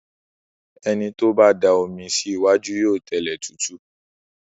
Ẹni tó bá da omi sí iwájú yóò tẹlẹ̀ tútù.